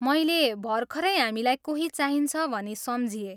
मैले भर्खरै हामीलाई कोही चाहिन्छ भनी सम्झिएँ।